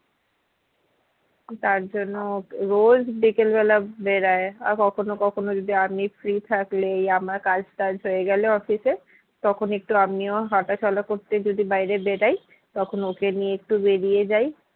তার জন্য ওকে রোজ বিকেলবেলা বেড়ায় আর কখনো কখনো যদি আমি free থাকলেই আমার কাজ টাজ হয়ে গেলে office এ তখন একটু আমিও হাঁটা চলা করতে যদি বাইরে বেড়াই তখন ওকে নিয়ে একটু বেরিয়ে যাই